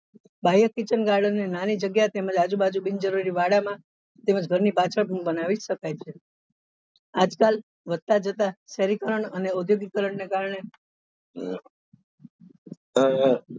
કાર્ય kitchen garden નાની જગ્યા તેમજ આજુબાજુ બિનજરૂરી વાડા માં તેમજ ઘર ની પાછળ પણ બનાવી શકાય છે આજ કાલ વધતા જતા શહેરીકરણ અને ઔધોગિકકરણ ને કારને અ